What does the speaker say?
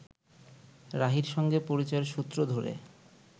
রাহীর সঙ্গে পরিচয়ের সূত্র ধরে